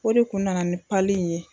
O de kun nana nin pali in ye